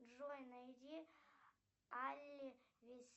джой найди